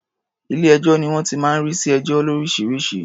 Ilé-ẹjọ́ ni wọ́n ti máa ń rí sí ẹjọ́ lóríṣiríṣi.